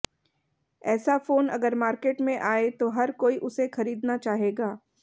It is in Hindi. ऐसा फोन अगर मार्केट में आए तो हर कोई उसे खरीदना चाहेगा